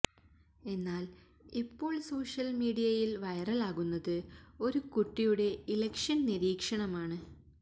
എന്നാൽ ഇപ്പോൾ സോഷ്യൽ മീഡിയയിൽ വൈറലാകുന്നത് ഒരു കുട്ടിയുടെ ഇലക്ഷൻ നിരീക്ഷണമാണ്